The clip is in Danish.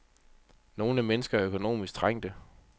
Nogle mennesker er økonomisk trængte.